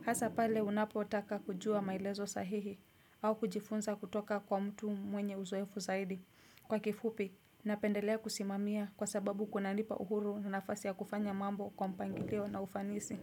Hasa pale unapotaka kujua maelezo sahihi au kujifunza kutoka kwa mtu mwenye uzoefu zaidi. Kwa kifupi, napendelea kusimamia kwa sababu kunanipa uhuru na nafasi ya kufanya mambo kwa mpangilio na ufanisi.